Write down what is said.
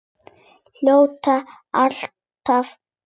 Hljóta alltaf að verða það.